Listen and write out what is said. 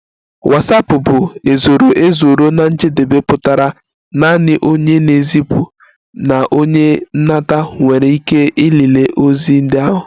Watsapụ bụ ezoro ezo ruo na njedebe pụtara naanị onye na-ezipụ na onye nata nwere ike ịlele ozi ndị ahụ